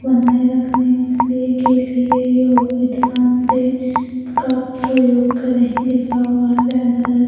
बनाए रखने के लिए के लिए योगदान दे का प्रयोग करें लिखा हुआ है बैनर है।